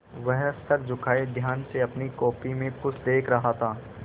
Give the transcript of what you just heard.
वह सर झुकाये ध्यान से अपनी कॉपी में कुछ देख रहा था